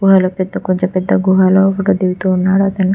వాళ్లు పెద్ద కొంచెం పెద్ద గుహలో ఫోటో దిగుతున్నారు అతను.